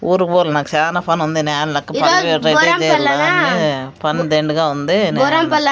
ఊరుకు పోవల్ల నాక్ సానా పనుంది పని దెండిగా ఉంది నేన్--